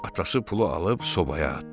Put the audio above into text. Atası pulu alıb sobaya atdı.